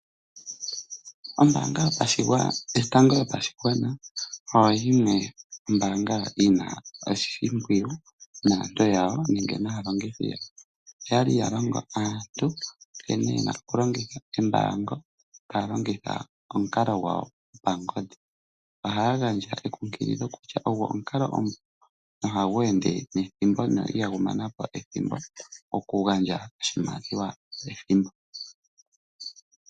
Ombaanga yotango yopashigwana oyo yimwe ombaanga yi na oshimpwiyu naantu yawo nenge naalongithi yombaanga yawo. Oya li ya longo aantu nkene ye na okulongitha embaango, ta ya longitha omukalo gwawo gwopangodhi. Ohaya gandja ekunkililo kutya ogwo omukalo omupu noha gu ende nethimbo na ihagu mana po ethimbo okugandja oshimaliwa pethimbo.